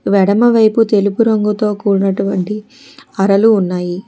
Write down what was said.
ఎడమవైపు తెలుపు రంగు తో కూడినటువంటి అరలు ఉన్నాయి.